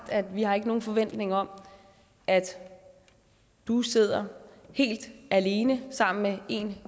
vi har ikke nogen forventning om at du sidder helt alene sammen med en